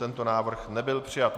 Tento návrh nebyl přijat.